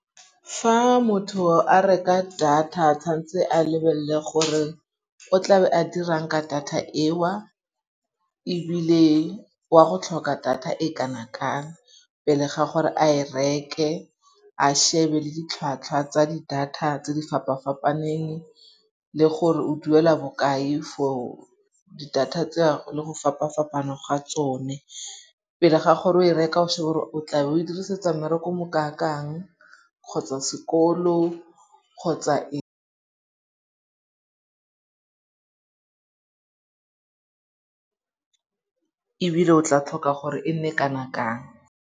Fa motho a reka data tshwantse a lebelle gore o tlabe a dirang ka data eo. Ebile wa go tlhoka data e kana-kang pele ga gore a e reke, a shebe le ditlhwatlhwa tsa di data tse di fapa-fapaneng le gore o duela bokae for di-data tseo le go fapa-fapaneng ga tsone. Pele ga gore o e reka o shebe gore o tlabe o e dirisetsa mmereko o mokakang kgotsa sekolo kgotsa ebile o tla tlhoka gore e nne kana-kang.